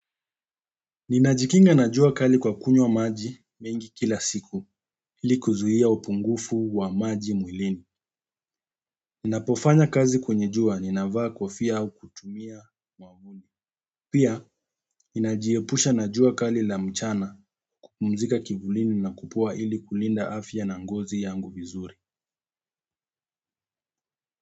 Ninajikinga na jua kali kwa kunywa maji mengi kila siku ili kuzuia upungufu wa maji mwilini. Ninapofanya kazi kwenye jua ninavaa kofia au kutumia mwavuli. Pia, inajiepusha najua kali la mchana kupumzika kivulini na kupoa ili kulinda afya na ngozi yangu vizuri.